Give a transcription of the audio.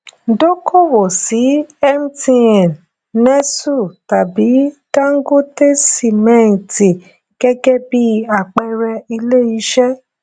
dókòwó sí mtn nestlé tàbí dangote sìmẹẹtì gẹgẹ bí àpẹẹrẹ ilé iṣẹ